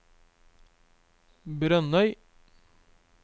Brønnøy